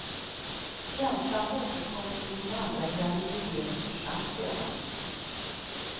Känslan återkom under min andra graviditet och försvann sedan.